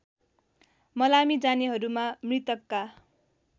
मलामी जानेहरूमा मृतकका